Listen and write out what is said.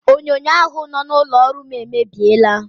Onyonyo ahụ nọ n'ụlọ ọrụ m emebiela.